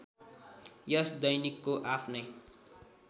यस दैनिकको आफ्नै